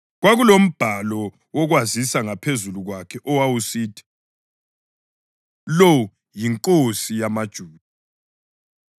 Kwakulombhalo wokwazisa ngaphezulu kwakhe owawusithi: Lo yiNkosi yamaJuda.